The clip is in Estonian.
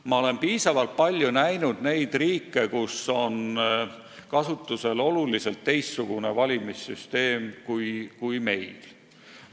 Ma olen piisavalt palju näinud neid riike, kus on kasutusel oluliselt teistsugune valimissüsteem kui meil.